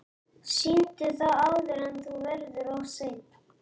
Sýndu það áður en það verður of seint.